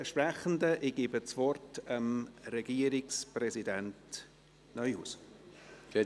Ich gebe Regierungsrat Neuhaus das Wort.